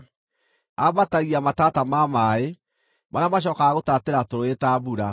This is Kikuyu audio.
“Ambatagia matata ma maaĩ, marĩa macookaga gũtaatĩra tũrũũĩ ta mbura;